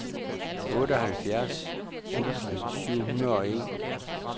otteoghalvfjerds tusind syv hundrede og en